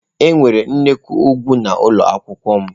Enwere nnukwu ugwu n'ụlọ akwụkwọ m.